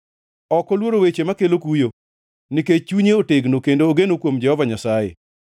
Ok oluoro weche makelo kuyo nikech chunye otegno kendo ogeno kuom Jehova Nyasaye.